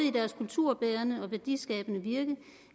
i deres kulturbærende og værdiskabende virke